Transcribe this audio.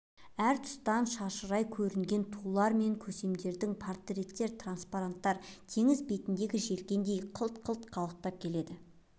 әр тұстан шашырай көрінген тулар мен көсемдердің портреттер транспоранттар теңіз бетіндегі желкендердей қылт-қылт қалықтап келеді